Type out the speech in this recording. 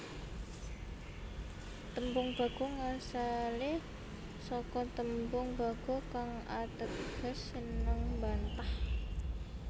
Tembung Bagong asale saka tembung Bagho kang ateges seneng mbantah